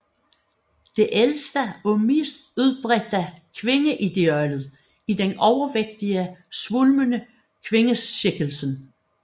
Det ældste og mest udbredte kvindeideal er den overvægtige svulmende kvindeskikkelse